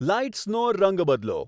લાઈટ્સનો રંગ બદલો